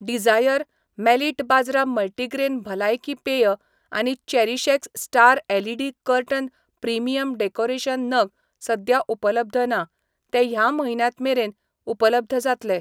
Dzire, मेलिट बाजरा multigrain भलायकी पेय आनी चेरीशएक्स star LED curtain premium decoration नग सद्या उपलब्ध ना, ते ह्या मह्यन्यांत मेरेन उपलब्ध जातले.